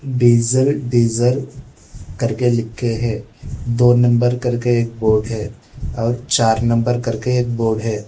Diesel diesel करके लिखे हैं। दो नंबर करके एक बोर्ड है और चार नंबर करके एक बोर्ड है।